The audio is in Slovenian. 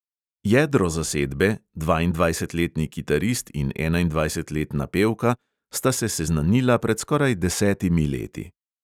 Jedro zasedbe, dvaindvajsetletni kitarist in enaindvajsetletna pevka, sta se seznanila pred skoraj desetimi leti.